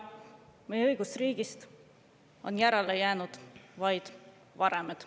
Meie õigusriigist on järele jäänud vaid varemed.